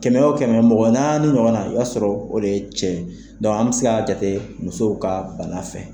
Kɛmɛ o kɛmɛ mɔgɔ naani ni ɲɔgɔn na i b'a sɔrɔ o ye cɛ ye, dɔnku an bɛ se k'a jate musow ka bana fɛ .